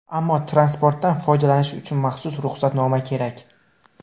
Ammo transportdan foydalanish uchun maxsus ruxsatnoma kerak.